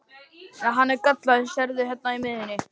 Nei, hann er gallaður, sérðu hérna í miðjunni.